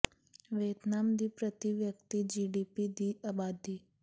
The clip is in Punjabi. ਵੀਅਤਨਾਮ ਦੀ ਪ੍ਰਤੀ ਵਿਅਕਤੀ ਜੀ ਡੀ ਪੀ ਦੀ ਆਬਾਦੀ